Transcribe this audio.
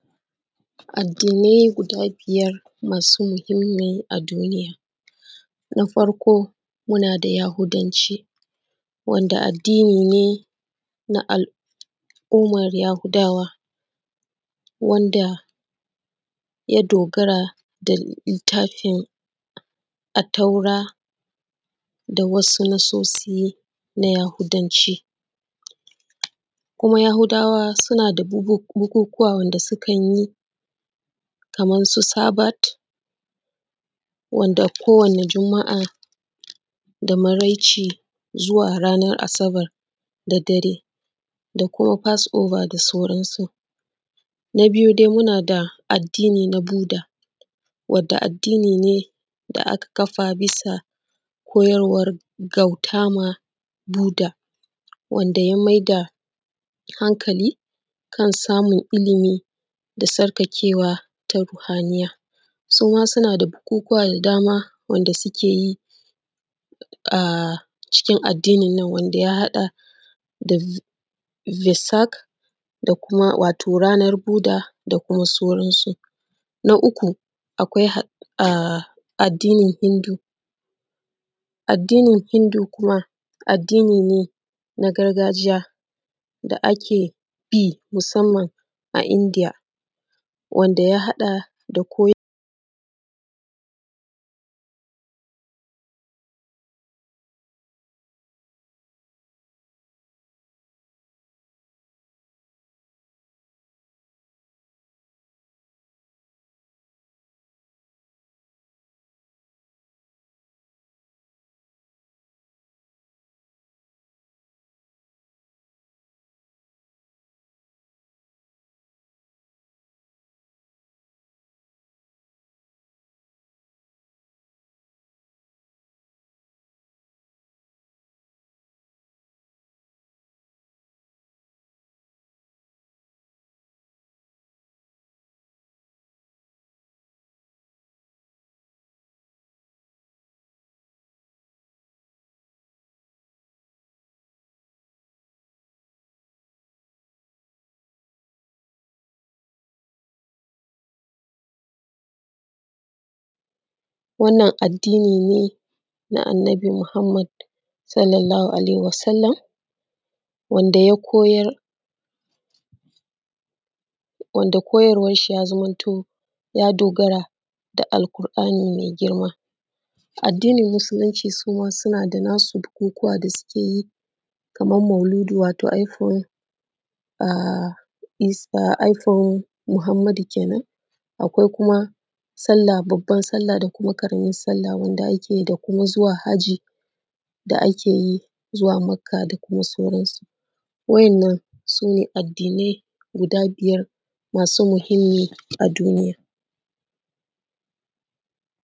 Addinai guda biyar masu muhimmi a duniya na farko addinin Yahudawa wanda addini ne na al’umar Yahudawa wanda ya dogara da littafin attaura da wasu nassosi na Yahudanci kuma Yahudawa suna da wasu bukukuna wanda suke yi kaman su sabat wanda kowane juma’a da maraici zuwa ranan asabar da dare, da kuma fast over da sauransu. Na biyu dai muna da addini na budda wadda addini ne da aka kafa bisa koyarwan bautama Buda, wanda ya maida hankali kan samun ilimi da sukakewa ta ruhaniyya suma suna da bukukuwa da dama wanda suke yi a cikin addininnan wanda ya haɗa da yassak da kuma wato ranan buda da kuma sauransu. Na uku akwai addinin Hindu addinin Hinhu kuma adddini ne na gargajiya da ake bi musanman a Indiya. Wanda ya haɗa da wannan addini ne na annabi Muhammad [s a w] wanda koyarwansa ya zamanto koyarwansa ya dogarane ga alƙur’ani mai girma, addinin musulinci suma suna da nasu bukukuwa da suke yi kaman mauludi wato ranan haihuwan annabi kenan, akwai kuma salla, babban salla da kuma ƙaraman salla da ake yi da kuma zuwa hajji da ake yi zuwa makka da kuma sauransu. Wannan su ne addinai guda biyar masu muhinmanci a duniya.